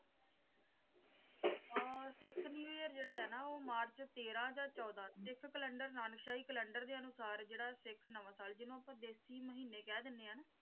ਆਹ Sikh new year ਜਿਹੜਾ ਹੈ ਨਾ ਉਹ ਮਾਰਚ ਤੇਰਾਂ ਜਾਂ ਚੌਦਾਂ ਸਿੱਖ ਕਲੈਂਡਰ ਨਾਨਕ ਸ਼ਾਹੀ ਕੈਲੰਡਰ ਦੇ ਅਨੁਸਾਰ ਜਿਹੜਾ ਸਿੱਖ ਨਵਾਂ ਸਾਲ ਜਿਹਨੂੰ ਆਪਾਂ ਦੇਸੀ ਮਹੀਨੇ ਕਹਿ ਦਿੰਦੇ ਆ ਨਾ।